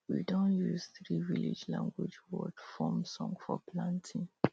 we don use three village language word form song for planting